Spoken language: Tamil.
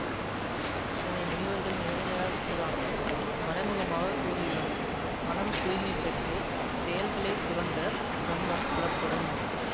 இதனை முனிவர்கள் நேரடியாக கூறாமல் மறைமுகமாக கூறியுள்ளனர் மனம் தூய்மை பெற்று செயல்களை துறந்த பிரம்மம் புலப்படும்